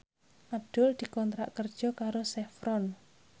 Abdul dikontrak kerja karo Chevron